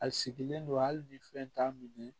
A sigilen don hali ni fɛn t'a minɛ